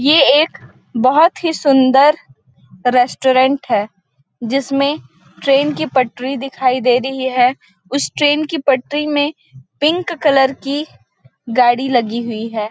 ये एक बहुत ही सुंदर रेस्टोरेंट है जिसमें ट्रेन की पटरी दिखाई दे रही है उस ट्रेन की पट्टी में पिंक कलर की गाड़ी लगी हुई है।